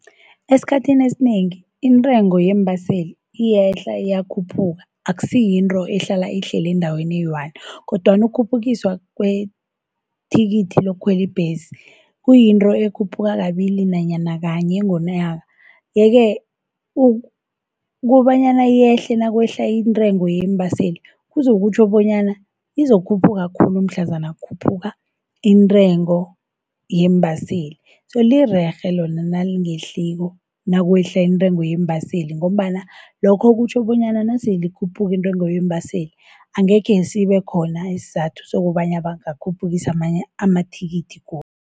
Esikhathini esinengi intrengo yeembaseli iyehla, iyakhuphuka. Akusiyintro ehlala ihlele endaweni eyi-one, kodwana ukhuphukiswa kwethikithi lokukhweli ibhesi kuyinto ekhuphuka kabili nanyana kanye ngonyaka. Yeke kobanyana yehle nakwehla intrengo yeembaseli, kuzokutjho bonyana lizokhuphuka khulu mhlazana kukhuphuka intrengo yeembaseli. So lirerhe lona nalingehliwo nakwehla intrengo yeembaseli, ngombana lokho kutjho bonyana naselikhuphuka intrengo yeembaseli, angekhe sibekhona isizathu sokobana bangakhuphukisa amanye amathikithi godu.